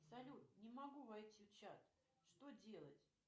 салют не могу войти в чат что делать